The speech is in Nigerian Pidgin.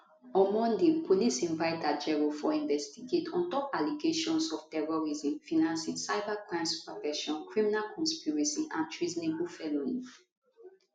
on monday police invite ajaero for investigate on top allegations of terrorism financing cybercrime subversion criminal conspiracy and treasonable felony